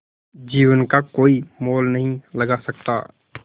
जीवन का कोई मोल नहीं लगा सकता